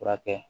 Furakɛ